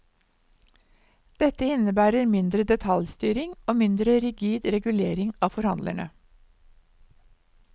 Dette innebærer mindre detaljstyring og mindre rigid regulering av forhandlerne.